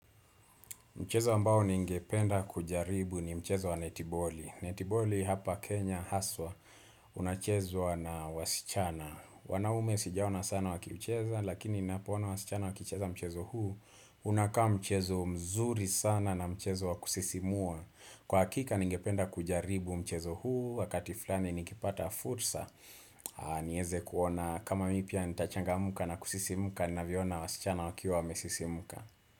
Mchezo ambao ningependa kujaribu ni mchezo wa netiboli. Netiboli hapa Kenya, Haswa, unachezwa na wasichana. Wanaume sijaona sana wakiucheza, lakini ninapoona wasichana waki ucheza mchezo huu. Unakaa mchezo mzuri sana na mchezo wakusisimua. Kwa hakika ningependa kujaribu mchezo huu, wakati fulani nikipata fursa. Niweze kuona kama mimi pia nitachangamka na kusisimuka, ni naviona wasichana wakiwa wamesisimuka.